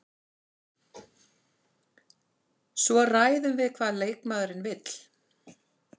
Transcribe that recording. Svo ræðum við hvað leikmaðurinn vill.